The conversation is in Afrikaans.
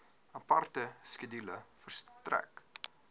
aparte skedule verstrek